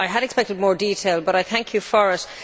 I had expected more detail but I thank you for it.